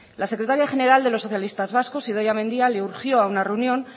la secretaria general de los socialistas vascos idoia mendia le urgió a una reunión